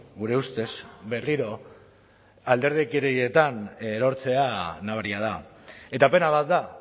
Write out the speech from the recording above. gure ustez berriro alderdikerietan erortzea nabaria da eta pena bat da